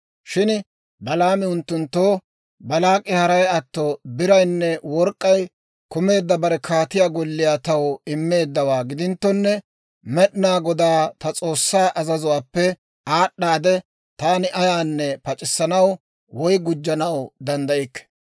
Shin Balaami unttunttoo, «Baalaak'i haray atto biraynne work'k'ay kumeedda bare kaatiyaa golliyaa taw immeeddawaa gidinttonne, Med'inaa Godaa ta S'oossaa azazuwaappe aad'aadde, taani ayaanne pac'issanaw woy gujjanaw danddaykke.